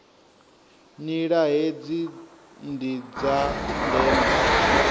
nila hedzi ndi dza ndeme